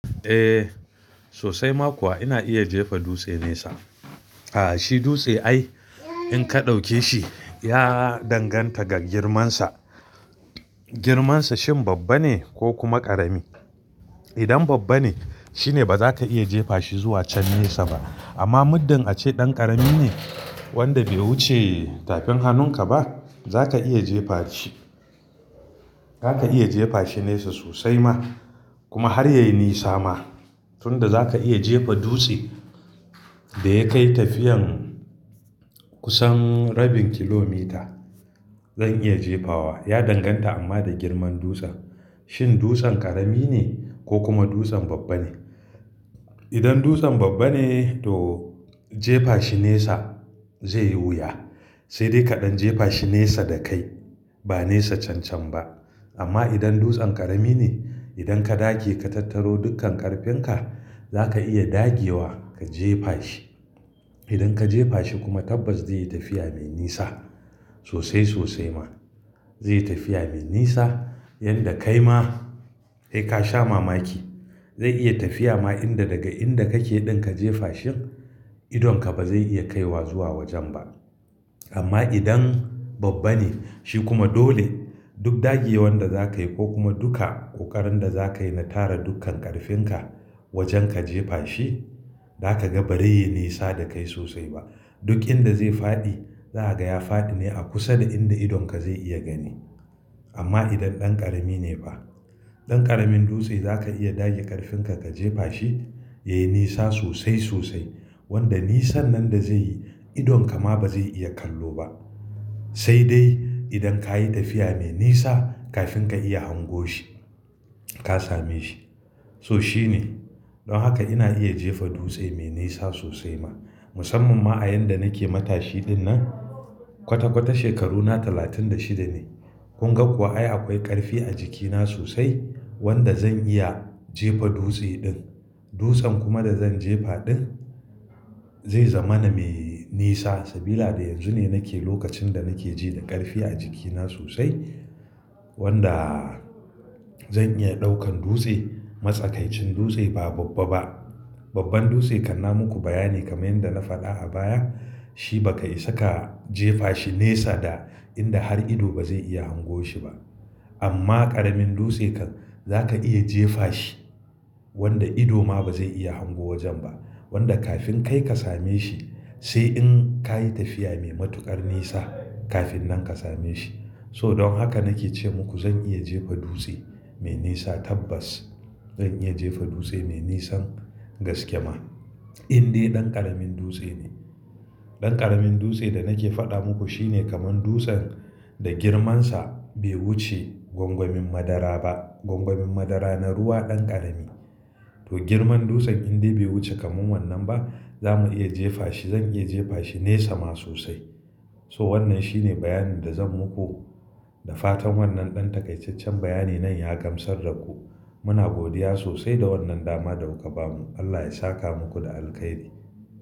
Eh, sosai ma kuwa ina iya jefa dutse nesa. Aa shi dutse ai in ka ɗauke shi ya danganta ga girmansa. Girmansa shin babba ne ko kuma ƙarami? Idan babba ne, shine ba za ka iya jefa shi zuwa can nesa ba. Amma muddin a ce ɗan ƙarami ne wanda bai wuce tafin hannunka ba, za ka iya jefa shi. Za ka iya jefa shi nesa sosai ma kuma har ya yi nisa ma. Tun da za ka iya jefa dutse da ya kai tafiyan kusan rabin kilomita, zan iya jefawa. Ya danganta amma da girman dutsen. Shin dutsen ƙarami ne ko kuma dutsen babba ne? Idan dutsen babba ne to jefa shi nesa zai yi wuya. Sai dai kaɗan jefa shi nesa da kai ba nesa cancan ba. Amma idan dutsen ƙarami ne, idan ka dage ka tattaro dukkan ƙarfin ka, za ka iya dagewa ka jefa shi. Idan ka jefa shi kuma tabbas zai yi tafiya mai nisa sosai sosai ma. Zai yi tafiya mai nisa, yadda kai ma sai ka sha mamaki. Zai iya tafiya ma inda daga inda kake ɗin ka jefa shi, idonka ba zai iya kaiwa zuwa wajen ba. Amma idan babba ne, shi kuma dole duk dagewan da za ka yi ko kuma duka ƙoƙarin da za ka yi na tara dukkan ƙarfin ka wajen ka jefa shi, za ka ga ba zai yi nisa da kai sosai ba. Duk inda zai faɗi, za a gaya faɗi ne a kusa da inda idonka zai iya gani. Amma idan ɗan ƙarami ne ba, ɗan ƙaramin dutse za ka iya dage ƙarfin ka ka jefa shi, ya yi nisa sosai sosai. Wanda nisan nan da zai yi, idonka ma ba zai iya kallo ba. Sai dai idan ka yi tafiya mai nisa kafin ka iya hango shi, ka same shi. So shi ne. Don haka ina iya jefa dutse mai nisa sosai ma. Musamman ma a yan da nake matashi ɗinnan, kwata kwata shekaruna talatin da shida ne. Kun ga kuwa ai akwai ƙarfi a jikina sosai wanda zan iya jefa dutse ɗin. Dutsen kuma da zan jefa ɗin zai zama na mai nisa. Sabila da yanzu ne nake lokacin da nake ji da ƙarfi a jikina sosai wanda zan iya ɗaukan dutse. Matsakaicin dutse ba babba ba. Babban dutse kanna muku bayani kamar yadda na faɗa a baya. Shi ba ka isa ka jefa shi nesa da inda har ido ba zai iya hango shi ba. Amma ƙaramin dutse kan za ka iya jefa shi wanda ido ma ba zai iya hango wajen ba. Wanda kafin kai ka same shi, sai in ka yi tafiya mai matuƙar nisa kafin nan ka same shi. So don haka nake ce muku zan iya jefa dutse mai nisa tabbas. Zan iya jefa dutse mai nisan gaske ma. Indai ɗan ƙaramin dutse ne. Ɗan ƙaramin dutse da nake faɗa muku shine kamar dutsen da girmansa bai wuce gwangwamin madara ba. Gwangwamin madara na ruwa ɗan ƙarami. To girmar dutsen indai bai wuce kamar wannan ba, za mu iya jefa shi. Zan iya jefa shi nesa ma sosai. So wannan shi ne bayani da zan muku. Da fatan wannan ɗan takaicaccen bayani nan ya gamsar da ku. Muna godiya sosai da wannan dama da kuka bamu. Allah ya saka muku da alkhairi.